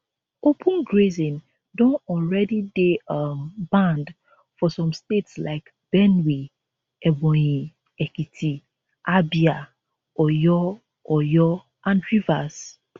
open grazing don already dey um banned for some states like benue ebonyi ekiti abia oyo oyo and rivers